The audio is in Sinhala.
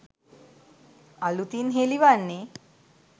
අලුතින් හෙළිවන්නේ.